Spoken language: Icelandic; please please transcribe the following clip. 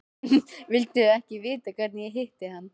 Viltu ekki vita hvernig ég hitti hann?